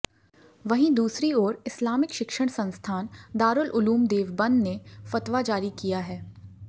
वहीं दूसरी ओर इस्लामिक शिक्षण संस्थान दारुल उलूम देवबंद ने फतवा जारी किया है